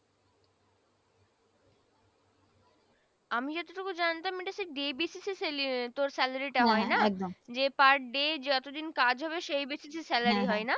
আমি যতোটুকু জানতাম এটা day basis তোর salary টা হয় তাই না যে per day যত দিন কাজ হবে day basis salary হয় না।